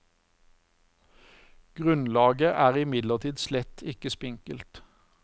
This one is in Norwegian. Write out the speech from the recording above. Grunnlaget er imidlertid slett ikke spinkelt.